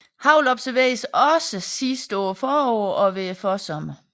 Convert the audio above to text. Hagl observeres også sidst på foråret og ved forsommeren